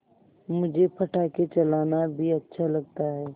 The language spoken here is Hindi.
मुझे पटाखे चलाना भी अच्छा लगता है